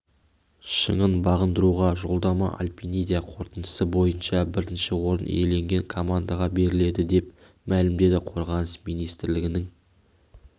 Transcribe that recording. шыңын бағындыруға жолдама альпиниада қорытындысы бойынша бірінші орын иеленген командаға беріледі деп мәлімдеді қорғаныс министрлігінің